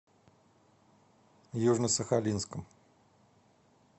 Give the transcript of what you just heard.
южно сахалинском